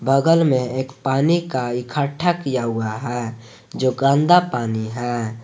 बगल एक में जो पानी इकट्ठा किया हुआ है जो गंदा पानी है।